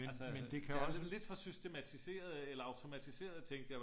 Men men det kan også